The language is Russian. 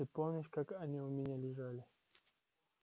ты помнишь как они у меня лежали